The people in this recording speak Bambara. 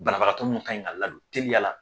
Banabakatɔ ninnu ka ɲi ka ladon.